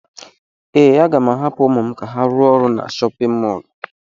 Ee, aga m ahapụ ụmụ m ka ha rụọ ọrụ na chọpịn mọọlụ.